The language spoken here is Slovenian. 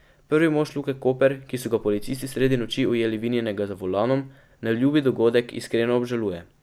Prvi mož Luke Koper, ki so ga policisti sredi noči ujeli vinjenega za volanom, neljubi dogodek iskreno obžaluje.